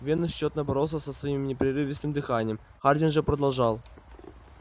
венус тщетно боролся со своим непрерывистым дыханием хардин же продолжал